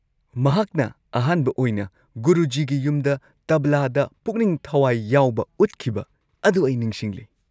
ꯃꯍꯥꯛꯅ ꯑꯍꯥꯟꯕ ꯑꯣꯏꯅ ꯒꯨꯔꯨꯖꯤꯒꯤ ꯌꯨꯝꯗ ꯇꯕ꯭ꯂꯥꯗ ꯄꯨꯛꯅꯤꯡ ꯊꯋꯥꯏ ꯌꯥꯎꯕ ꯎꯠꯈꯤꯕ ꯑꯗꯨ ꯑꯩ ꯅꯤꯡꯁꯤꯡꯂꯤ꯫